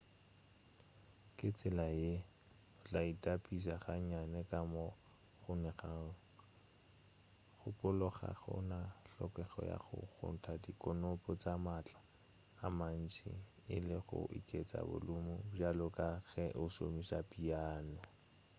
ka tsela ye o tla itapiša ga nnyane ka moo go kgonegago gopola ga go na hlokego ya go kgotla dikonopi ka maatla a mantši e le go oketša bolumu bjalo ka ge o šomiša piano